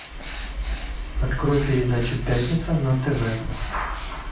открой передачу пятница на тв